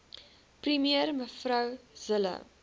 premier mev zille